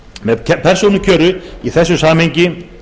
með persónukjöri er í þessu samhengi